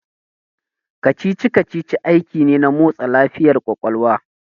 Kacici kacici aiki ne na motsa lafiyar ƙwaƙwalwa